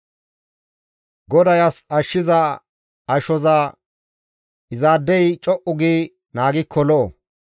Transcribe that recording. GODAY as ashshiza ashoza izaadey co7u gi naagikko lo7o.